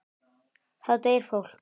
Þá deyr fólk.